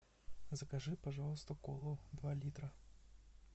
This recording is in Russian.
закажи пожалуйста колу два литра